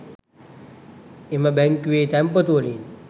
එම බැංකුවේ තැන්පතුවලින්